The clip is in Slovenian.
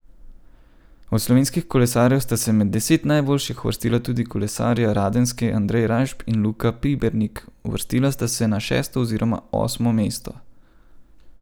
Od slovenskih kolesarjev sta se med deset najboljših uvrstila tudi kolesarja Radenske Andrej Rajšp in Luka Pibernik, uvrstila sta se na šesto oziroma osmo mesto.